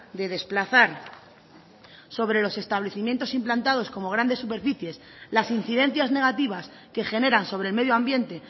de desplazar sobre los establecimientos implantados como grandes superficies las incidencias negativas que generan sobre el medio ambiente